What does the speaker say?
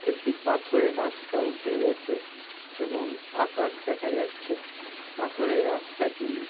একটি পাথরের রাস্তা উঠে গেছে এবং আকাশ দেখা যাচ্ছে পাথরের রাস্তাটি--